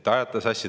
Te ajate asjad sassi.